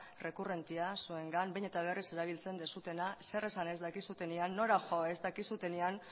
rekurrentea zuengan behin eta berriz erabiltzen duzuena zer esan ez dakizuenean nora jo ez dakizuenean